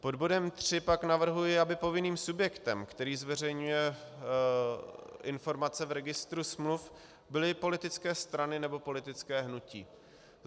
Pod bodem 3 pak navrhuji, aby povinným subjektem, který zveřejňuje informace v Registru smluv, byly politické strany nebo politická hnutí.